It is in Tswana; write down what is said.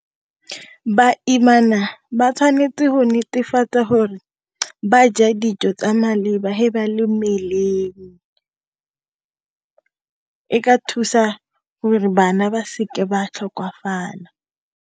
Ba imana ba tshwanetse go netefatsa hore ba ja dijo tsa maleba he ba le mmeleng e ka thusa gore bana ba seke ba tlhokafala.